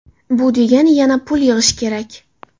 Bu degani yana pul yig‘ish kerak.